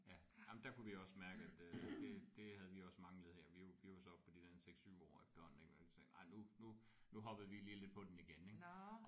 Ja jamen der kunne vi også mærke at øh det det havde vi også manglet her vi var vi var så oppe på de der 6 7 år efterhånden ik hvor vi tænkte nej nu nu nu hoppede vi lige lidt på den igen ik